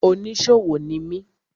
Oníṣòwò ni mi.